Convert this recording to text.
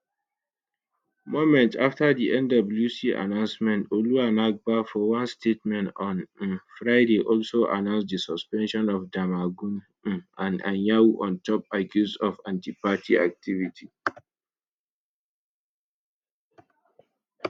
moments afta di nwc announcement ologunagba for one statement on um friday also announce di suspension of damagum um and anyanwu on top accuse of antiparty activity